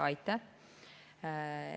Aitäh!